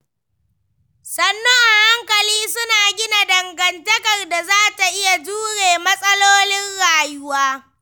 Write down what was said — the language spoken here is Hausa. Sannu a hankali, suna gina dangantakar da za ta iya jure matsalolin rayuwa.